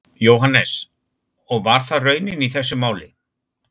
Jóhannes: Og var það raunin í þessu máli?